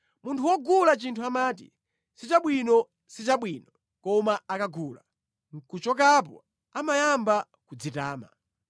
Munthu wogula chinthu amati, “Sichabwino, sichabwino.” Koma akagula nʼkuchokapo amayamba kudzitama.